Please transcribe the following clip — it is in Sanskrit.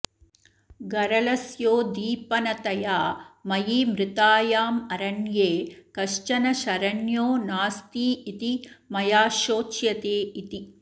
गरलस्योद्दीपनतया मयि मृतायामरण्ये कश्चन शरण्यो नास्तीति मया शोच्यते इति